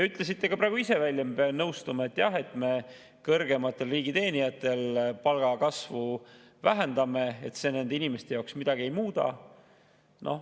Ütlesite praegu ka ise välja ja ma pean nõustuma, et jah, me kõrgematel riigiteenijatel palgakasvu vähendame ja see nende inimeste jaoks midagi ei muuda.